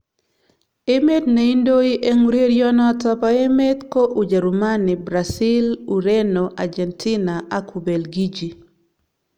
Emet neindoi eng urerionotok bo emet ko Ujerumani, Brazil, Ureno, Argentina ak Ubelgiji.